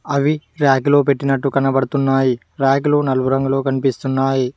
అవి ర్యాక్లో పెట్టినట్టు కనబడుతున్నాయి ర్యాక్లు నలుపు రంగులో కనిపిస్తున్నాయి.